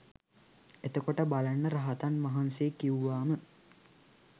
එතකොට බලන්න රහතන් වහන්සේ කිව්වාම